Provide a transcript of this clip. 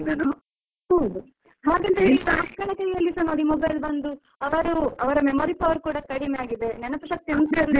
ಹು, ಹಾಗಂತ ಈಗ ಮಕ್ಕಳ ಕೈಯಲ್ಲಿಸ ನೋಡಿ mobile ಬಂದು ಅವರು ಅವರ memory power ಕೂಡ ಕಡಿಮೆ ಆಗಿದೆ, ನೆನಪು ಶಕ್ತಿ ಎಂತ ಇರ್ಲಿಲ್ಲಾ.